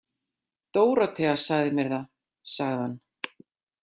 Dórótea sagði mér það, sagði hann.